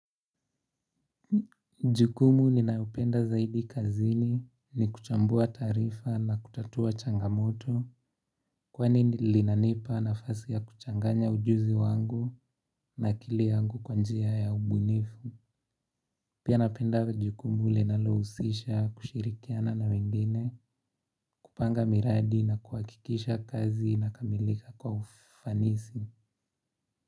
Jukumu ninaupenda zaidi kazini ni kuchambua tarifa na kutatua changamoto. Kwani nilinanipa na fasi ya kuchanganya ujuzi wangu na akili yangu kwanjia ya ubunifu. Pia napenda jukumu linalohusisha kushirikiana na wengine kupanga miradi na kuhakikisha kazi inakamilika kwa ufanisi.